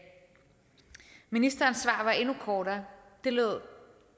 ministerens svar var endnu kortere det lød